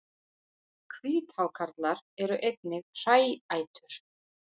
Hvíthákarlar eru einnig hræætur.